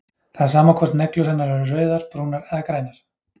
Það er sama hvort neglur hennar eru rauðar, brúnar eða grænar.